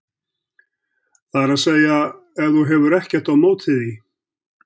það er að segja ef þú hefur ekkert á móti því.